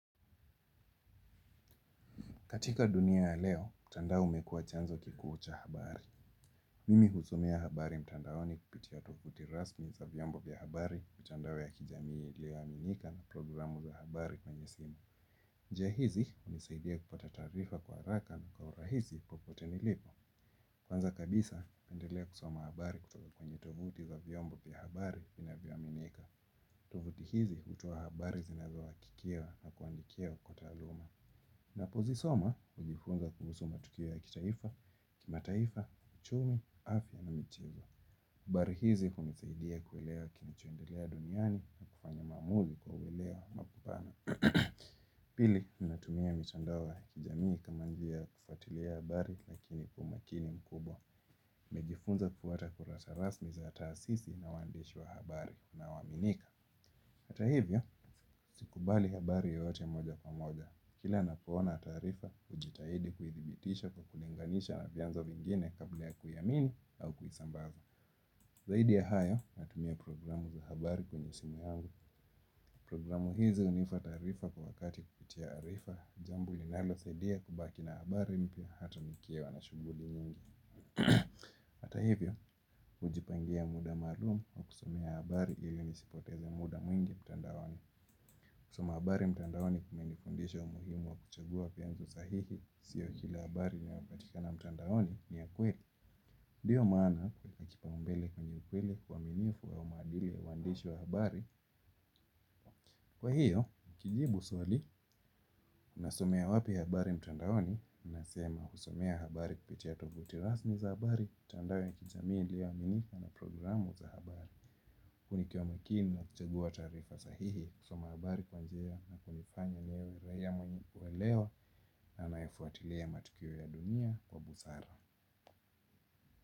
Katika dunia ya leo, mtandao umekuwa chanzo kikuu cha habari. Mimi husomea habari mtandaoni kupitia tovuti rasmi za vyombo vya habari mitandao ya kijamii ilio aminika na programu za habari kwenye simu. Njia hizi hunisaidia kupata taarifa kwa haraka na kwa urahisi popote nilipo. Kwanza kabisa, napendelea kusoma habari kutoka kwenye tovuti za vyombo vya habari vinavyoaminika. Tovuti hizi hutoa habari zinazazohakikiwa na kuandikia kwa taaluma. Ninapozisoma hujifunza kuhusu matukio ya kitaifa kimataifa uchumi afya na michezo habari hizi hunisaidia kuelewa kinachoendelea duniani na kufanya maamuzi kwa uwelewa makupana. Pili, natumia mitandao ya kijamii kama njia ya kufuatilia habari lakini kwa umakini mkubwa. Nimejifunza kufuata kurasa rasmi za taasisi na uandishi wa habari inaoaminika. Hata hivyo, sikubali habari yoyote moja kwa moja. Kila napoona taarifa, hujitahidi kuidhibitisha kwa kulinganisha na vyanzo vingine kabla ya kuiamini au kuisambaza. Zaidi ya hayo natumia programu za habari kwenye simu yangu programu hizi hunipa taarifa kwa wakati kupitia arifa jambo ninalosaidia kubaki na habari mpya hata nikiwa na shughuli nyingi. Ata hivyo, hujipangia muda maalum wa kusomea habari ili nisipoteze muda mwingi mtandaoni. Kusoma habari mtandaoni kumenifundisha umuhimu wa kuchagua vyanzo sahihi. Sio kila habari inayopatikana mtandaoni ni ya kweli ndio maana hukipa kipaumbele kwenye ukweli uaminifu au maadili ya waandishi wa habari. Kwa hiyo, nikijibu swali, nasomea wapi habari mtandaoni. Nasema husomea habari kupitia tovuti rasmi za habari mtandao ya kijamii ilioaminika na programu za habari huu nikiwa makini na kuchagua taarifa sahihi. Kusoma habari kwa njia na kunifanya niwe raia mwenye uwelewa na anayefuatilia matukio ya dunia kwa busara.